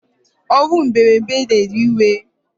Onwu mberede na ewe iwe